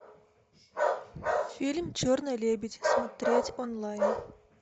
фильм черный лебедь смотреть онлайн